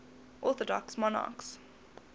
orthodox monarchs